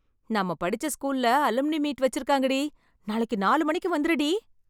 நம்ம படிச்ச ஸ்கூல்ல அலும்னி மீட் வச்சிருக்காங்கடி, நாளைக்கு நாலு மணிக்கு வந்துருடி.